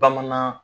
Bamanan